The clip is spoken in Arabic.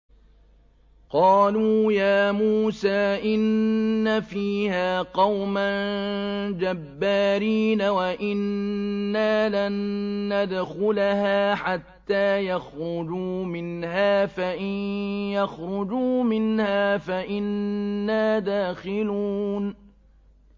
قَالُوا يَا مُوسَىٰ إِنَّ فِيهَا قَوْمًا جَبَّارِينَ وَإِنَّا لَن نَّدْخُلَهَا حَتَّىٰ يَخْرُجُوا مِنْهَا فَإِن يَخْرُجُوا مِنْهَا فَإِنَّا دَاخِلُونَ